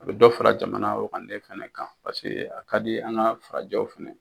A bɛ dɔ fara jamana wagande fana kan paseke a ka di an ka farajɛw fana ye.